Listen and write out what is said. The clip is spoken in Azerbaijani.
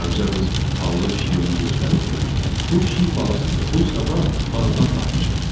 Qaraca qız xallı pişiyi ona göstərib dedi: "Bu pişik balasıdır. Bu sabah bağdan tapmışam."